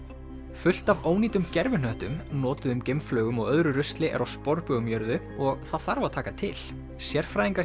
fullt af ónýtum gervihnöttum notuðum geimflaugum og öðru rusli er á sporbaug um jörðu og það þarf að taka til sérfræðingar